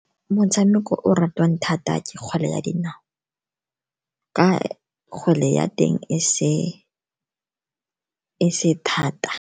Motshameko o o ratiwang thata ke kgwele ya dinao, ka kgwele ya teng e se thata.